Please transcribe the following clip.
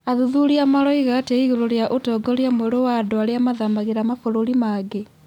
athuthuria maroiga atĩa igũrũ rĩgiĩ ũtongoria mwerũ wa andũ arĩa mathamagĩra mabũrũri mangĩ